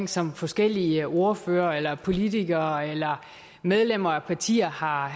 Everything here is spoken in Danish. som forskellige ordførere eller politikere eller medlemmer af partier har